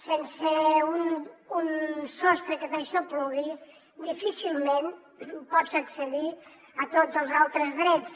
sense un sostre que t’aixoplugui difícilment pots accedir a tots els altres drets